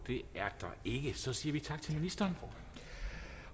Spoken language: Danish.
er der ikke og så siger vi tak til ministeren